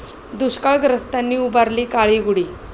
दुष्काळग्रस्तांनी उभारली काळी गुढी